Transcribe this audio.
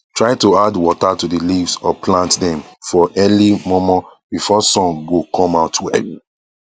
try to add water to the leaves or plants dem for early mor mor before sun go come out well